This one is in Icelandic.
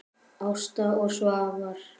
Ásta og Svafar.